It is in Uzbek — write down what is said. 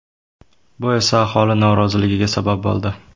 Bu esa aholi noroziligiga sabab bo‘ldi.